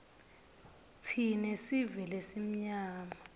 tsine sive lesimnyama